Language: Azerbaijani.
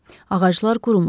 Ağaclar qurumuşdu.